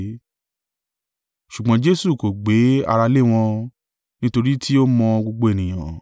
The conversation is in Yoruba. Ṣùgbọ́n Jesu kò gbé ara lé wọn, nítorí tí ó mọ gbogbo ènìyàn.